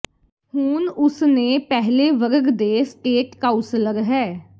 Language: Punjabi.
ਹੁਣ ਉਸ ਨੇ ਪਹਿਲੇ ਵਰਗ ਦੇ ਸਟੇਟ ਕਾਊਸਲਰ ਹੈ